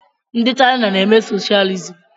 Ndi Chaina na-eme socialism.